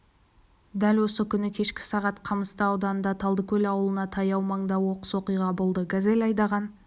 дәл осы күні кешкі сағат қамысты ауданында талдыкөл ауылына таяу маңда оқыс оқиға болды газель айдаған